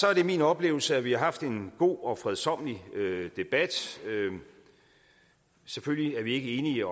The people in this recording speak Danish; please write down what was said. er det min oplevelse at vi har haft en god og fredsommelig debat selvfølgelig er vi ikke enige